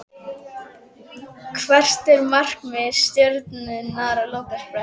Hvert er markmið Stjörnunnar á lokasprettinum?